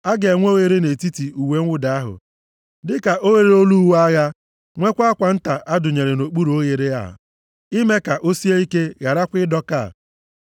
A ga-enwe oghere nʼetiti uwe mwụda ahụ, dịka oghere olu uwe agha, nwekwa akwa nta a dụnyere nʼokpuru oghere a, ime ka o sie ike gharakwa ịdọka.